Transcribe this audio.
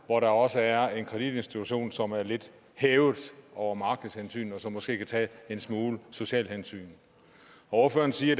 hvor der også er en kreditinstitution som er lidt hævet over markedshensyn og som måske kan tage en smule sociale hensyn ordføreren siger